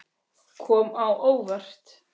Kom á óvart.